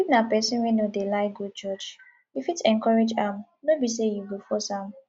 if na person wey no dey like go church you fit encourage am no be sey you go force am